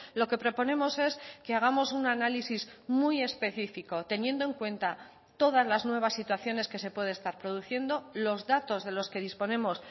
lo que proponemos es que hagamos un análisis muy específico teniendo en cuenta todas las nuevas situaciones que se puede estar produciendo los datos de los que disponemos